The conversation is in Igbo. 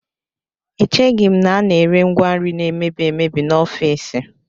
Echeghị m na a na-ere ngwa nri na-emebi emebi n'ofiisi